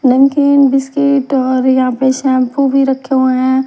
लेकिन बिस्किट और यहां पे शैंपू भी रखे हुए हैं।